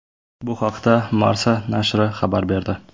Bu haqda Marca nashri xabar berdi .